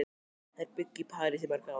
Þær bjuggu í París í mörg ár.